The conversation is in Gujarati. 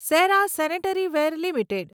Sera sanitaryware limited